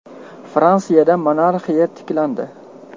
Fransiyada monarxiya tiklandi.